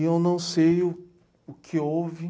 E eu não sei o que houve.